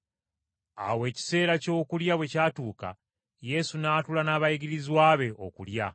Awo ekiseera ky’okulya bwe kyatuuka, Yesu n’atuula n’abayigirizwa be okulya.